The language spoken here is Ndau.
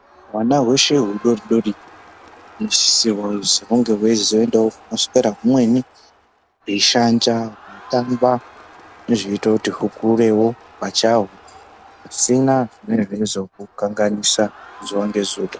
Hwana hweshe hudori dori huno sisirwa kuzi hunge hweizo endawo kunoswera humweni hwei shanja hwei tamba ndo zvinoita kuti hukurewo pachahwo pasina zvinenge zveizvo hu kanganisa zuva nge zuva.